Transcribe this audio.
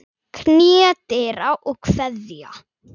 Knýja dyra og kveðja.